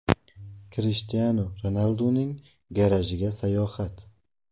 Krishtianu Ronalduning garajiga sayohat .